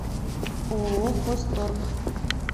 ооо хозторг